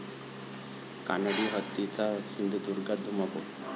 कानडी हत्तींचा सिंधुदुर्गात धुमाकूळ